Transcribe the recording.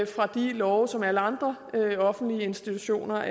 fra de love som alle andre offentlige institutioner